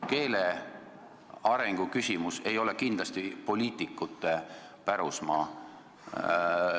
Keele arengu küsimus ei ole kindlasti poliitikute pärusmaa.